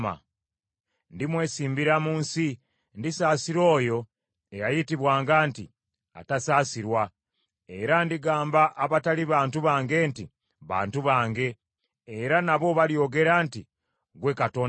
“Ndimwesimbira mu nsi, ndisaasira oyo eyayitibwanga nti, atasaasirwa, era ndigamba abataali bantu bange nti, ‘Bantu bange,’ era nabo balyogera nti, ‘Ggwe Katonda wange.’ ”